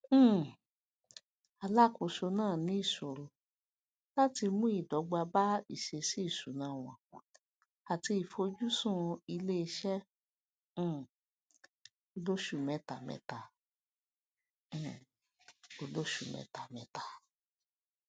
um alákóso naa ní ìṣòro láti mú ìdọgba bá ìṣẹsíìṣúná wọn ati ìfojusùn iléiṣẹ um olósù mẹtamẹta um olósù mẹtamẹta